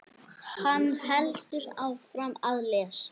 Hann heldur áfram að lesa: